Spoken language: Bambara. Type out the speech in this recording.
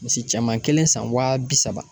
Misi cɛman kelen san waa bi saba.